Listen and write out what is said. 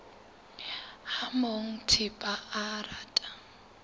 ha monga thepa a rata